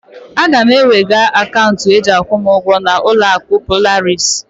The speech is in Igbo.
Aga m ewega akaunti e ji akwụ m ugwo ga uloaku Polaris